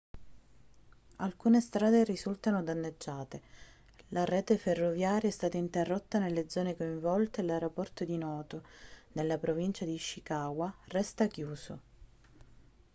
alcune strade risultano danneggiate la rete ferroviaria è stata interrotta nelle zone coinvolte e l'aeroporto di noto nella provincia di ishikawa resta chiuso